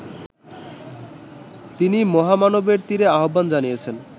তিনি মহামানবের তীরে আহ্বান জানিয়েছেন